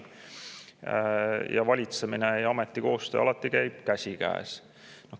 Valitsemine ning selle ameti töö alati käib käsikäes.